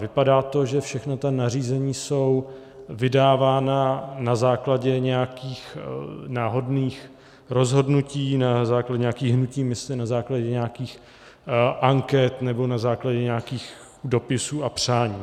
Vypadá to, že všechna ta nařízení jsou vydávána na základě nějakých náhodných rozhodnutí, na základě nějakých hnutí mysli, na základě nějakých anket nebo na základě nějakých dopisů a přání.